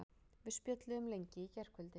Við spjölluðum lengi í gærkvöldi.